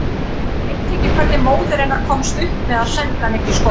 Ég veit ekki hvernig móðir hennar komst upp með að senda hana ekki í skóla.